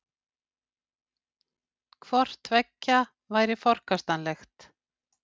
Hvort tveggja væri forkastanlegt